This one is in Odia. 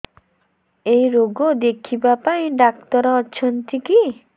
ଏଇ ରୋଗ ଦେଖିବା ପାଇଁ ଡ଼ାକ୍ତର ଅଛନ୍ତି କି